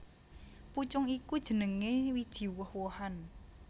Pucung iku jenengé wiji woh wohan